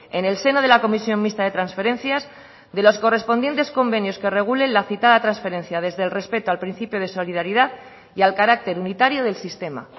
en el seno de la comisión mixta de transferencias de los correspondientes convenios que regulen la citada transferencia desde el respeto al principio de solidaridad y al carácter unitario del sistema